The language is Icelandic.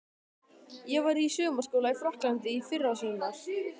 Ég var í sumarskóla í Frakklandi í fyrrasumar.